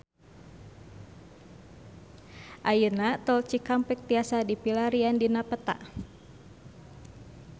Ayeuna Tol Cikampek tiasa dipilarian dina peta